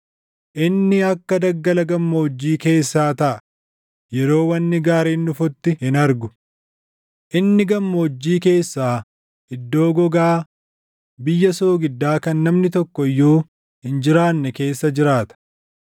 Inni akka daggala gammoojjii keessaa taʼa; yeroo wanni gaariin dhufutti hin argu. Inni gammoojjii keessaa iddoo gogaa biyya soogiddaa kan namni tokko iyyuu hin jiraanne keessa jiraata.